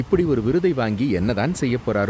இப்படி ஒரு விருதை வாங்கி என்னதான் செய்யப்போறாரு!